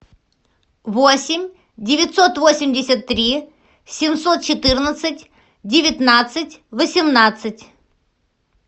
восемь девятьсот восемьдесят три семьсот четырнадцать девятнадцать восемнадцать